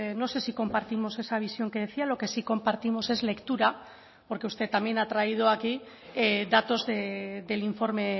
no sé si compartimos esa visión que decía lo que sí compartimos es lectura porque usted también ha traído aquí datos del informe